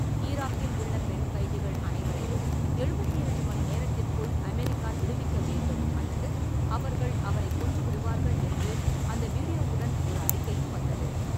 ஈராக்கில் உள்ள பெண் கைதிகள் அனைவரையும் எழுபத்தி இரண்டு மணிநேரத்திற்குள் அமெரிக்கா விடுவிக்க வேண்டும் அல்லது அவர்கள் அவரைக் கொன்றுவிடுவார்கள் என்று அந்த வீடியோவுடன் ஒரு அறிக்கையும் வந்தது.